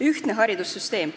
Ühtne haridussüsteem.